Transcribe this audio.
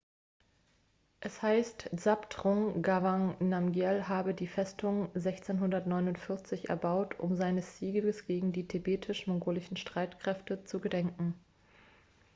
es heißt zhabdrung ngawang namgyel habe die festung 1649 erbaut um seines sieges gegen die tibetisch-mongolischen streitkräfte zu gedenken